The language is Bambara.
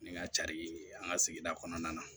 Ni ŋa cari le ye an ŋa sigida kɔnɔna na